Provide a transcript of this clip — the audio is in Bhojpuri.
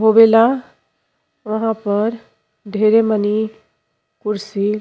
वहां पर ढेरे मनि कुर्सी --